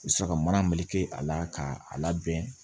U bɛ sɔrɔ ka mana meleke a la k'a labɛn